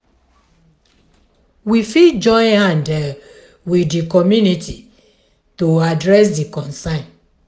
we fit join hand with di community to address di concern